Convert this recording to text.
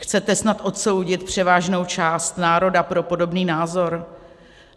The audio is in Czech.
Chcete snad odsoudit převážnou část národa pro podobný názor?